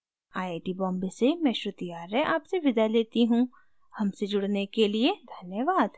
I I T Bombay से मैं श्रुति आर्य आपसे विदा लेती हूँ हमसे जुड़ने के लिए धन्यवाद